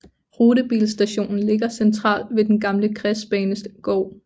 Rutebilstationen ligger centralt ved den gamle kredsbanegård